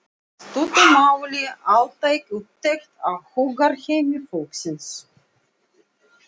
í stuttu máli altæk úttekt á hugarheimi fólksins.